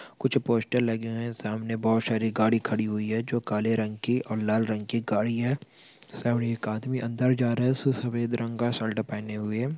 कुछ पोस्टर लगे हुए हैं सामने बोहत सामने बहुत सारा गाड़ी खड़ी हुई हैं जो काळा रंग की और लाल रंग की गाड़ी हैं सामने एक आदमी अंदर जा रहा है उसने सफेद रंग का शर्ट पहने हुए हैं ।